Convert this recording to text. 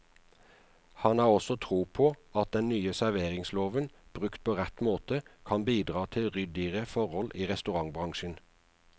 Han har også tro på at den nye serveringsloven, brukt på rett måte, kan bidra til ryddigere forhold i restaurantbransjen.